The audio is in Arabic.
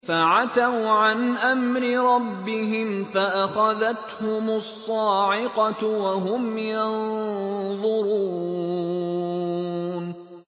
فَعَتَوْا عَنْ أَمْرِ رَبِّهِمْ فَأَخَذَتْهُمُ الصَّاعِقَةُ وَهُمْ يَنظُرُونَ